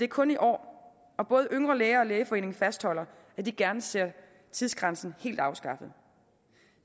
kun i år og både yngre læger og lægeforeningen fastholder at de gerne ser tidsgrænsen helt afskaffet